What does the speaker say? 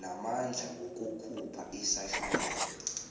namandla wokukhupha isahlulelo